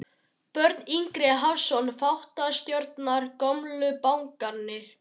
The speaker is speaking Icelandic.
Björn Ingi Hrafnsson, þáttastjórnandi: Gömlu bankarnir?